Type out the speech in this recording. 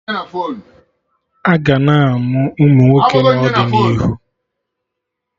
Aga na-amụ Ụmụnwoke n'ọdịnihu